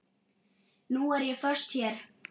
Nú er ég föst hér.